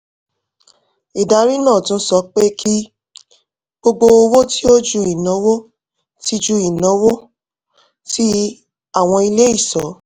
ìdarí náà tún sọ pé kí gbogbo owó tí ó ju ìnáwó tí ju ìnáwó tí àwọn ilé ìṣọ́